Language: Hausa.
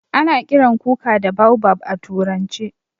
A na kiran kuka da baobab a turance.